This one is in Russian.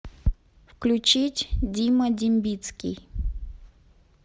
включить дима дембицкий